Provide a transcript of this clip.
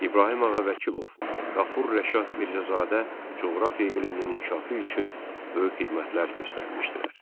İbrahim Ağa Vəkilov, Qafur Rəşad Mirzəzadə coğrafiya elminin inkişafı üçün böyük xidmətlər göstərmişdilər.